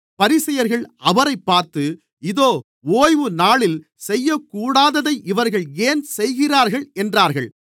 பரிசேயர்கள் அவரைப் பார்த்து இதோ ஓய்வுநாளில் செய்யக்கூடாததை இவர்கள் ஏன் செய்கிறார்கள் என்றார்கள்